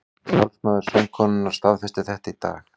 Talsmaður söngkonunnar staðfesti þetta í dag